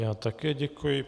Já také děkuji.